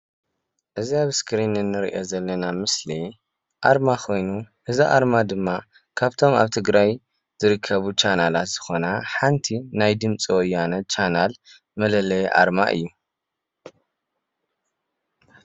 እዛ ኣብ እስክሪን እንሪኦ ዘለና ምስሊ ኣርማ ኮይኑ እዚ ኣርማ ድማ ካብቶም ኣብ ትግራይ ዝርከቡ ቻናላት ዝኮነ ሓንቲ ናይ ድምፂ ወያነ ቻናል መለለዪ ኣርማ እዩ።